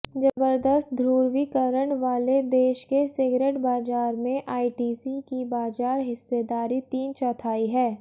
जबरदस्त धु्रवीकरण वाले देश के सिगरेट बाजार में आईटीसी की बाजार हिस्सेदारी तीन चौथाई है